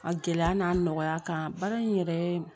A gɛlɛya n'a nɔgɔya kan baara in yɛrɛ